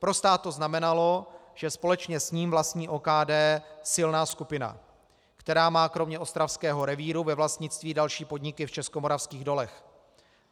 Pro stát to znamenalo, že společně s ním vlastní OKD silná skupina, která má kromě ostravského revíru ve vlastnictví další podniky v Českomoravských dolech.